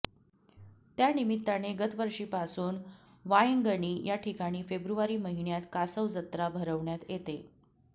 त्यानिमित्ताने गतवर्षीपासून वायंगणी या ठिकाणी फेब्रुवारी महिन्यात कासव जत्रा भरवण्यात येते